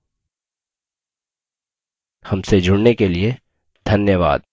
मैं Ravi Kumar I I T Bombay की ओर से विदा लेता हूँ हमसे जुड़ने के लिए धन्यवाद